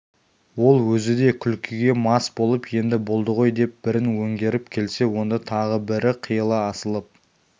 ол өзі де күлкіге мас болып енді болды ғой деп бірін өңгеріп келсе онда тағы бірі қиыла асылып